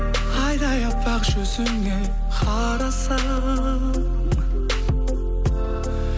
айдай аппақ жүзіңе қарасам